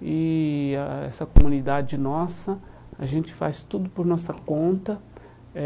e ah essa comunidade nossa, a gente faz tudo por nossa conta eh.